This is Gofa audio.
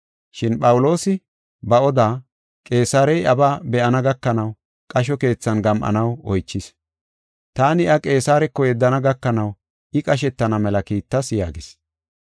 Shin Phawuloosi ba oda Qeesarey iyabaa be7ana gakanaw qasho keethan gam7anaw oychis. Taani iya Qeesareko yeddana gakanaw I qashetana mela kiittas” yaagis.